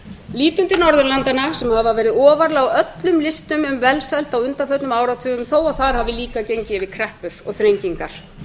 lítum til norðurlandanna sem hafa verið ofarlega á öllum listum um velsæld á undanförnum áratugum þó að þar hafi líka gengið yfir kreppur og þrengingar